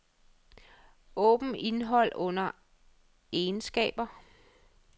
Åbn indhold under egenskaber.